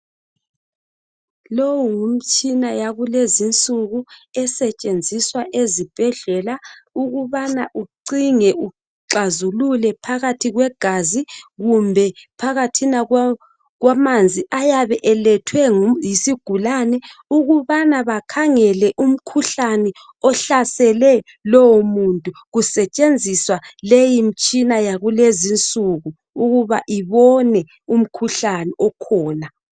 Lowu ngumtshina yakulezi insuku, esetshenziswa ezibhedlela. Ukubana ucinge, uxazulule phakathi kwegazi. Kumbe phakathina kwamanzi, ayabe elethwe yisigulane. Ukubana bakhangele umkhuhlane, ohlasele lowomuntu. Kusetshenziswa imitshina yonaleyi yakulezi insuku, ukuthi ibone umkhuhlane okhona